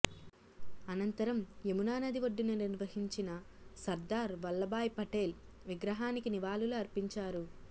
అనంతరం యమున నది ఒడ్డున నిర్వహించిన సర్దార్ వల్లాభాయ్ పటేల్ విగ్రహానికి నివాళులు అర్పించారు